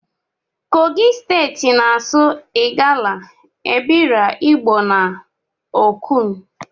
Kogi steti na asụ igala, ebira, igbo na okun.